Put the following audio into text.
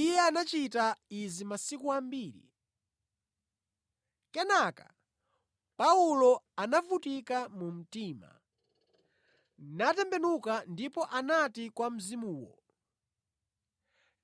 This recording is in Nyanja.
Iye anachita izi masiku ambiri. Kenaka Paulo anavutika mu mtima, natembenuka ndipo anati kwa mzimuwo,